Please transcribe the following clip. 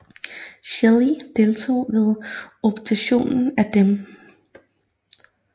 Schilly deltog ved obduktionen af dem